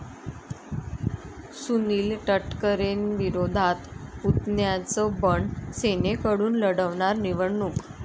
सुनील तटकरेंविरोधात पुतण्याचं बंड, सेनेकडून लढवणार निवडणूक